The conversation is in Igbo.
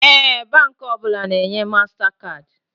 Ee, Baankị ọbụla na enye mastakaadị